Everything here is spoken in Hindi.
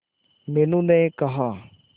मीनू ने कहा